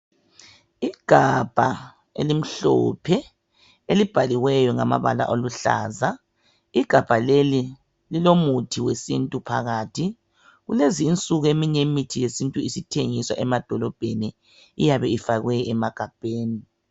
Igabha elimhlophe elibhaliweyo ngamabala aluhlaza. Igabha leli lilomuthi wesintu phakathi. Kulezi insuku imithi yesintu isithengiswa emadolobheni iyabe ifakwe emagabheni.